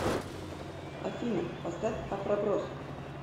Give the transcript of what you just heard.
афина поставь афро брос